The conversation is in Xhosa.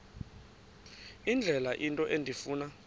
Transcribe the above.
indlela into endifuna